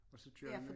Og så kører vi